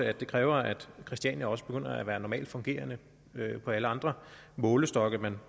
at det kræver at christiania også begynder at være normalt fungerende efter alle andre målestokke man